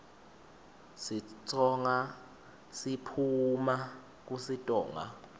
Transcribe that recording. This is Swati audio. sitsonga siphuuma kusitonga